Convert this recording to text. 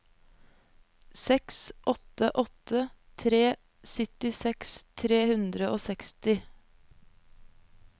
seks åtte åtte tre syttiseks tre hundre og seksti